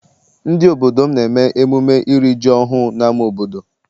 Ndị obodo m na-eme emume iri ji ọhụụ n'ama obodo.